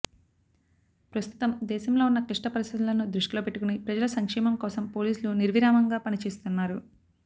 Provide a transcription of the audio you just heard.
ప్రస్తుతం దేశంలో ఉన్న క్లిష్ట పరిస్థితులను దృష్టిలో పెట్టుకుని ప్రజల సంక్షేమం కోసం పోలీసులు నిర్విరామంగా పనిచేస్తున్నారు